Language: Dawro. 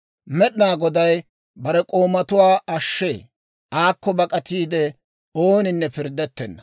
Med'inaa Goday bare k'oomatuwaa ashshee. Aakko bak'atiide ooninne pirddettenna.